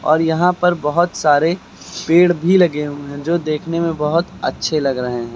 और यहां पर बहोत सारे पेड़ भी लगे हुए जो देखने में बहोत अच्छे लग रहे है।